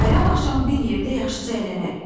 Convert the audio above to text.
bayram axşamı bir yerdə yaxşıca əylənərik.